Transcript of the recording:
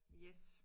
Yes